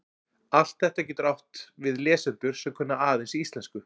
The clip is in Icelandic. Allt þetta getur átt við lesendur sem kunna aðeins íslensku.